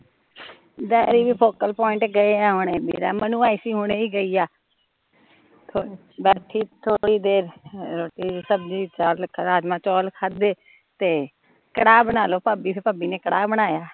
daddy ਵੀ focal point ਗਏ ਸਾਂ ਹੁਣੇ, ਵੀਰਾ ਮੰਨੂ ਆਈ ਸੀ , ਹੁਣੇ ਹੀ ਗਈ ਆ, ਬੈਠੀ ਥੋੜੀ ਦੇਰ, ਰੋਟੀ ਸਬਜ਼ੀ ਤੇ ਰਾਜਮਾਂਹ ਚੌਲ ਖਾਦੇ ਤੇ ਕੜਾਹ ਬਣਾ ਲਓ ਭਾਬੀ, ਫਿਰ ਭਾਬੀ ਨੇ ਕੜਾਹ ਬਣਾਇਆ